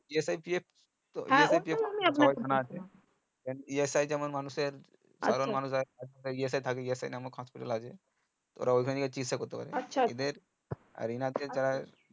যেমন ESI যেমন মানুষ এর ESI থাকে যেমন ESI নামক হাসপাতাল আছে ওরা ওখান থেকে চিকিৎসা করতে পারে এদের